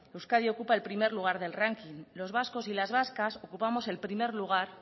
euskadi ocupa el primer lugar del ranking los vascos y las vascas ocupamos el primer lugar